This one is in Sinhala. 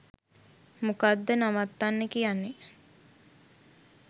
මොකද්ද නවත්තන්න කියන්නේ